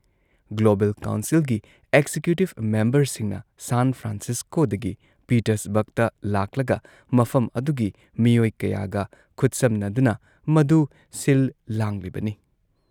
global ꯀꯥꯎꯟꯁꯤꯜꯒꯤ executive ꯃꯦꯝꯕꯔꯁꯤꯡꯅ San ꯐ꯭ꯔꯥꯟꯁꯤꯁꯀꯣꯗꯒꯤ ꯄꯤꯇꯔꯁꯕꯔꯒꯇ ꯂꯥꯛꯂꯒ ꯃꯐꯝ ꯑꯗꯨꯒꯤ ꯃꯤꯑꯣꯏ ꯀꯌꯥꯒ ꯈꯨꯠꯁꯝꯅꯗꯨꯅ ꯃꯗꯨ ꯁꯤꯜ-ꯂꯥꯡꯂꯤꯕꯅꯤ